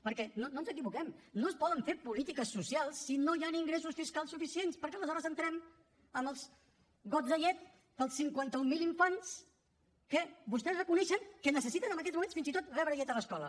perquè no ens equivoquem no es poden fer polítiques socials si no hi han ingressos fiscals suficients perquè aleshores entrem en els gots de llet per als cinquanta mil infants que vostès reconeixen que necessiten en aquests moments fins i tot rebre llet a l’escola